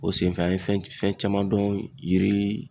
O senfɛ an ye fɛn fɛn caman dɔn yiri